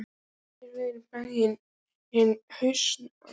Á miðri leið er bærinn Hnausar.